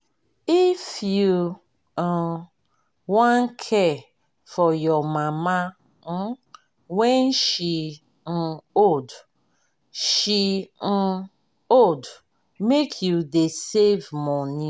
if you um wan care for your mama um wen she um old she um old make you dey save moni.